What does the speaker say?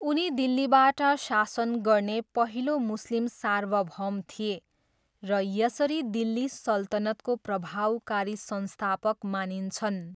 उनी दिल्लीबाट शासन गर्ने पहिलो मुस्लिम सार्वभौम थिए र यसरी दिल्ली सल्तनतको प्रभावकारी संस्थापक मानिन्छन्।